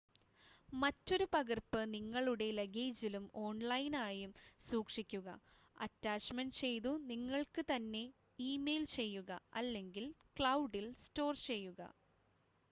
"മറ്റൊരു പകർപ്പ് നിങ്ങളുടെ ലഗേജിലും ഓൺലൈനായും സൂക്ഷിക്കുക അറ്റാച്ച്മെന്റ് ചെയ്തു നിങ്ങൾക്ക് തന്നെ ഇമെയിൽ ചെയ്യുക അല്ലെങ്കിൽ "ക്ലൗഡിൽ" സ്റ്റോർ ചെയ്യുക.